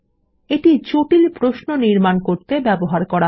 এটি জটিল প্রশ্ন নির্মাণ করতে ব্যবহার করা হয়